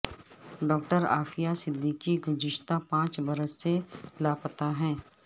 doctor Aafia Siddiqui گزشتہ پانچ برس سے لاپتہ ہیں